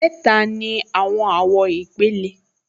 Mẹ́ta ni àwọn àwọ̀ ìpìlẹ̀